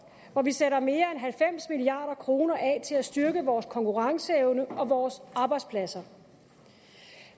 hvor vi sætter mere end halvfems milliard kroner af til at styrke vores konkurrenceevne og vores arbejdspladser